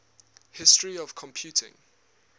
history of computing